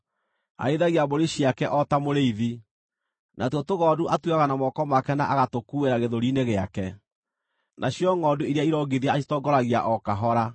Arĩithagia mbũri ciake o ta mũrĩithi: Natuo tũgondu atuoyaga na moko make na agatũkuuĩra gĩthũri-inĩ gĩake; nacio ngʼondu iria irongithia acitongoragia o kahora.